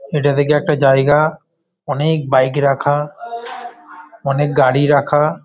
এটা দেখি একটা জায়গা অনেক বাইক রাখা অনেক গাড়ি রাখা।